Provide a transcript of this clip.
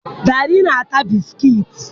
Dare na-eri bisikiiti